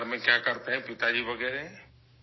اور والد وغیرہ خاندان میں کیا کرتے ہیں ؟